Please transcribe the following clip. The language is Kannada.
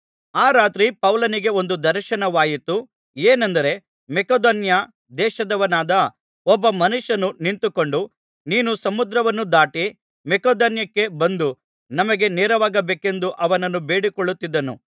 ಆ ರಾತ್ರಿ ಪೌಲನಿಗೆ ಒಂದು ದರ್ಶನವಾಯಿತು ಏನೆಂದರೆ ಮಕೆದೋನ್ಯ ದೇಶದವನಾದ ಒಬ್ಬ ಮನುಷ್ಯನು ನಿಂತುಕೊಂಡು ನೀನು ಸಮುದ್ರವನ್ನು ದಾಟಿ ಮಕೆದೋನ್ಯಕ್ಕೆ ಬಂದು ನಮಗೆ ನೆರವಾಗಬೇಕೆಂದು ಅವನನ್ನು ಬೇಡಿಕೊಳ್ಳುತ್ತಿದ್ದನು